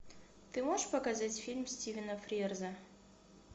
ты можешь показать фильм стивена фрирза